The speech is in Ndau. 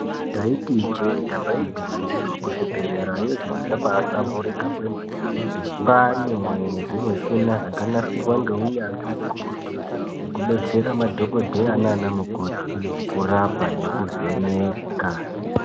Ndaiti ijee damba igwinyiso kuzvibhedhlera yo zviro zvabaa hlamburika kwemene kwane zvimushina zvakanasirwa ngeunyanzvi ukurutu zvekudetsera madhokodheye nana mukoti kurapa nekuvheneka.